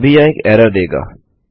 अभी यह एक एरर देगा